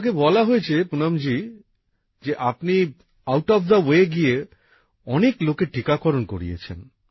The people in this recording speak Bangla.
আমাকে বলা হয়েছে পুনমজি যে আপনি নির্দিষ্ট নিয়মের বাইরে গিয়ে অনেক লোকের টীকাকরন করিয়েছেন